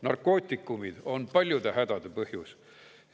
Narkootikumid on paljude hädade põhjus.